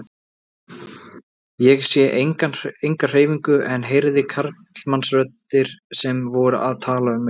Ég sá enga hreyfingu en heyrði karlmannsraddir sem voru að tala um mig.